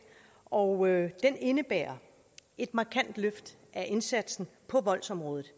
og den indebærer et markant løft af indsatsen på voldsområdet